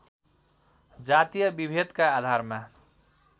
जातीय विभेदका आधारमा